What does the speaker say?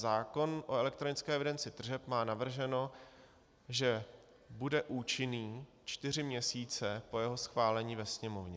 Zákon o elektronické evidenci tržeb má navrženo, že bude účinný čtyři měsíce po jeho schválení ve Sněmovně.